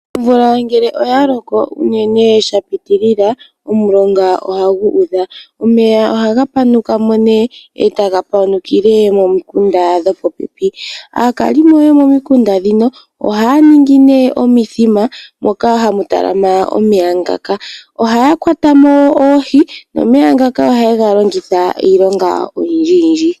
Omvula ngele oyaloko unene shapitilila, omulonga ohagu udha. Omeya ohagapanukamo nee etapanukile mimikunda dhopopepi. Aakalimo yomomikunda dhino ohaaningi nee omithima moka hamutalama omeya ngaka. Ohayakwatamo oohi nomeya ngaka ohayegalongithaa iilonga oyindji yindji.